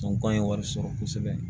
an ye wari sɔrɔ kosɛbɛ